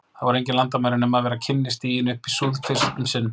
Þar voru engin landamæri, nema ef vera kynni stiginn upp í súð- fyrst um sinn.